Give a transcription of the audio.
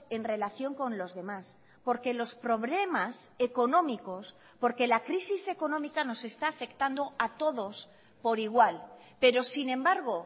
en relación con los demás porque los problemas económicos porque la crisis económica nos está afectando a todos por igual pero sin embargo